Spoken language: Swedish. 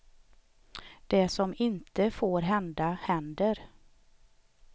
Det som inte får hända händer.